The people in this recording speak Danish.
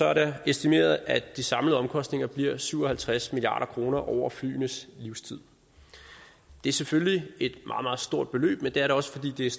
er det estimeret at de samlede omkostninger bliver syv og halvtreds milliard kroner over flyenes livstid det er selvfølgelig et meget meget stort beløb men det er da også fordelt